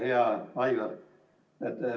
Hea Aivar!